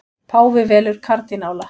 Páfi velur kardínála